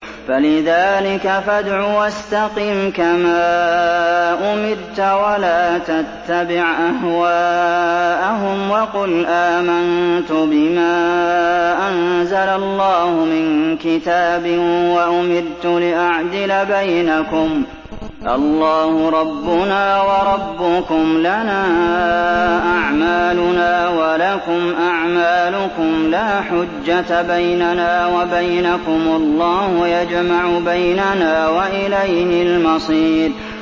فَلِذَٰلِكَ فَادْعُ ۖ وَاسْتَقِمْ كَمَا أُمِرْتَ ۖ وَلَا تَتَّبِعْ أَهْوَاءَهُمْ ۖ وَقُلْ آمَنتُ بِمَا أَنزَلَ اللَّهُ مِن كِتَابٍ ۖ وَأُمِرْتُ لِأَعْدِلَ بَيْنَكُمُ ۖ اللَّهُ رَبُّنَا وَرَبُّكُمْ ۖ لَنَا أَعْمَالُنَا وَلَكُمْ أَعْمَالُكُمْ ۖ لَا حُجَّةَ بَيْنَنَا وَبَيْنَكُمُ ۖ اللَّهُ يَجْمَعُ بَيْنَنَا ۖ وَإِلَيْهِ الْمَصِيرُ